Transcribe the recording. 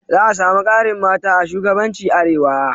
Za a samu ƙarin mata a shugabanci Arewa